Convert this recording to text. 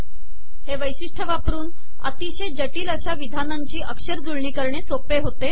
हे वैिशषटय वापरन अितशय जिटल अशा िवधानाची अकरजुळणी करणे सोपे होते